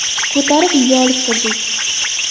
Ko‘tarib uyga olib kirdik.